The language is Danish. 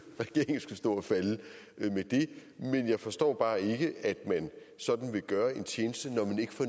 stå og falde med det men jeg forstår bare ikke at man sådan vil gøre en tjeneste når man ikke får